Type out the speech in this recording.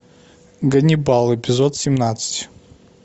ганнибал эпизод семнадцать